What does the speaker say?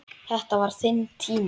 Þetta var þinn tími.